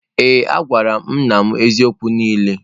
Ee a gwara m nna m eziokwu niile.